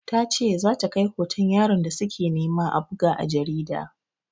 Ta ce za ta kai hoton yaron da su ke nema a buga a jarida.